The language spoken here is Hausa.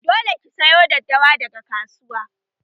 Dole ki sayo daddawa daga kasuwa!